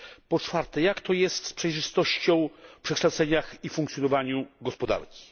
Po czwarte, jak to jest z przejrzystością w przekształceniach i funkcjonowaniu gospodarki?